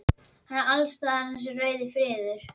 Hann er alls staðar þessi rauði friður.